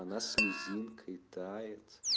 она слезинкой тает